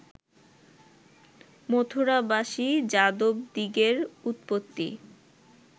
মথুরাবাসী যাদবদিগের উৎপত্তি